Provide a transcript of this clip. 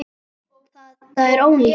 Þetta er ónýtt.